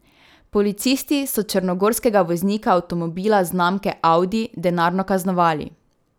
Policisti so črnogorskega voznika avtomobila znamke audi denarno kaznovali.